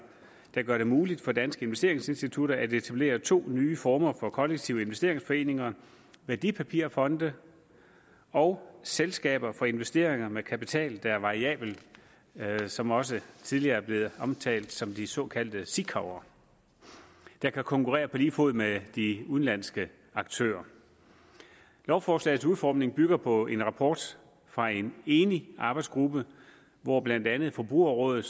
der gør det muligt for danske investeringsinstitutter at etablere to nye former for kollektive investeringsforeninger værdipapirfonde og selskaber for investeringer med kapital der er variabel som også tidligere er blevet omtalt som de såkaldte sikav’er der kan konkurrere på lige fod med de udenlandske aktører lovforslagets udformning bygger på en rapport fra en enig arbejdsgruppe hvor blandt andet forbrugerrådet